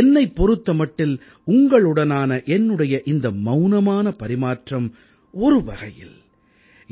என்னைப் பொறுத்த மட்டில் உங்களுடனான என்னுடைய இந்த மௌனமான பரிமாற்றம் ஒரு வகையில்